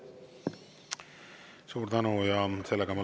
Suur tänu!